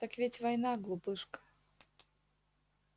так ведь война глупышка